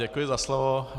Děkuji za slovo.